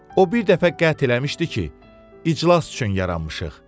O bir dəfə qət eləmişdi ki, iclas üçün yaranmışıq.